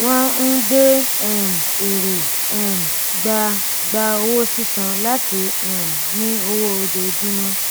wọn ń gbé um èrò um gba gba owó sísan láti um ní owó ojoojúmọ